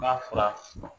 N'a fura